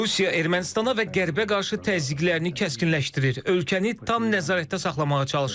Rusiya Ermənistana və Qərbə qarşı təzyiqlərini kəskinləşdirir, ölkəni tam nəzarətdə saxlamağa çalışır.